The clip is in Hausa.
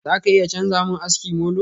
Za ka iya chanza mun aski molo?